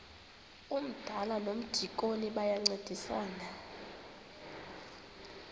umdala nomdikoni bayancedisana